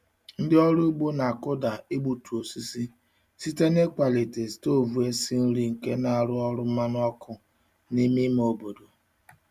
Ndị ọrụ ugbo na-akụda igbutu osisi site n'ịkwalite stovu esi nri nke na-arụ ọrụ mmanụ ọkụ n'ime ime obodo.